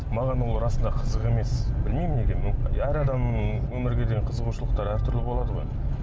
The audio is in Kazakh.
маған ол расында қызық емес білмеймін неге әр адамның өмірге деген қызығушылықтары әртүрлі болады ғой